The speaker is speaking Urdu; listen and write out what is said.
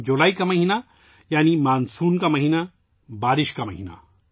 جولائی کا مہینہ یعنی مان سون کا مہینہ، بارش کا مہینہ